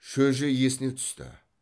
шөже есіне түсті